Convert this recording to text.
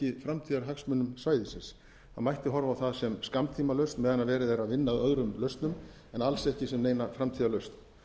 framtíðarhagsmunum svæðisins það mætti horfa á það sem skammtímalausn meðan verið er að vinna að öðrum lausnum en alls ekki sem neina framtíðarlausn